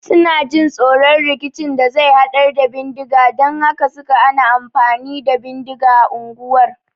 Suna jin tsoron rikicin da zai hadar da bindiga dan haka sai suka hana amfani da bindiga unguwar